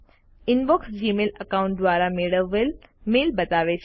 inbox Gmail account દ્વારા મેળવેલ mail બતાવે છે